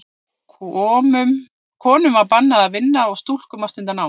Konum var bannað að vinna og stúlkum að stunda nám.